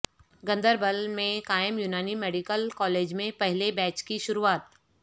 گاندربل میں قائم Unani medical college میں پہلے بیچ کی شروعات